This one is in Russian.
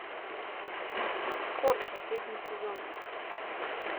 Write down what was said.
хор последний сезон